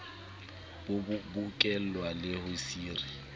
bo bokellwe le ho sire